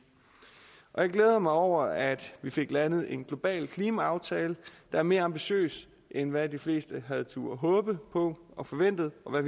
jeg glæder mig over at vi fik landet en global klimaaftale der er mere ambitiøs end hvad de fleste havde turdet håbe på og forventet og